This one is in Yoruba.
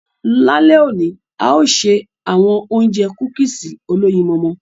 Lalẹ oni, a yóò ṣe awọn óunjẹ kúkìsí oloyinmọmọ